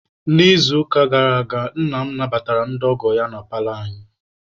N'izuụka gara aga, nna m nabatara ndị ọgọ ya na paalọ anyị.